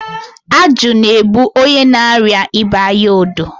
ajụ na-ebu onye na-arịa ịba anya odo.